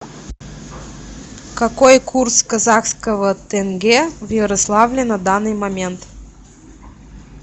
какой курс казахского тенге в ярославле на данный момент